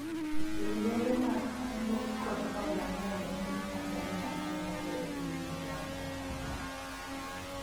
riwruoge mag kungo kod hola ng'eny e piny Tanzania kae moloyo piny Uganda